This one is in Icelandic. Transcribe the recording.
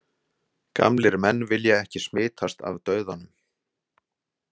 Gamlir menn vilja ekki smitast af dauðanum.